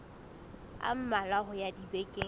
a mmalwa ho ya dibekeng